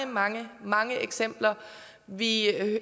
mange mange eksempler vi